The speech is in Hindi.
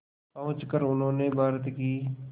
पहुंचकर उन्होंने भारत की